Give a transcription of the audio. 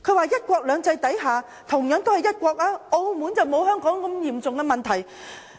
在"一國兩制"下，同樣都是一國，但澳門並沒有香港如此嚴重的問題。